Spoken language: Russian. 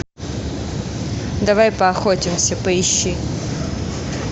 давай поохотимся поищи